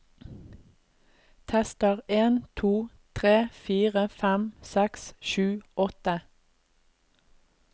Tester en to tre fire fem seks sju åtte